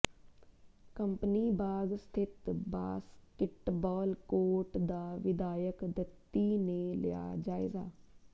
company Bagh ਸਥਿਤ basketball court ਦਾ ਵਿਧਾਇਕ ਦੱਤੀ ਨੇ ਲਿਆ ਜਾਇਜਾ